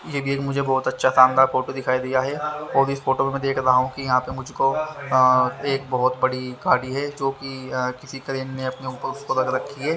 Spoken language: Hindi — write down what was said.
ये भी मुझे एक बहोत अच्छा शानदार फोटो दिखाई दिया है और इस फोटो में मैं देख रहा हूं कि यहां पे मुझको अं एक बहोत बड़ी गाड़ी है जोकि किसी क्रेन ने उसको अपने ऊपर रख रखी है।